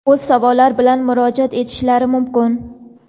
o‘z savollari bilan murojaat etishlari mumkin.